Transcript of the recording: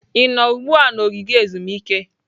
Ị nọ ugbu a na ogige ezumike?